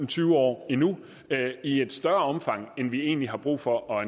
tyve år endnu i et større omfang end vi egentlig har brug for